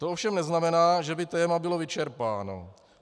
To ovšem neznamená, že by téma bylo vyčerpáno.